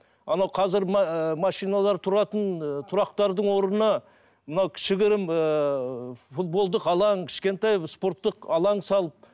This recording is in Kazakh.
анау қазір машиналар тұратын тұрақтардың орнына мынау кішігірім ыыы футболдық алаң кішкентай спорттық алаң салып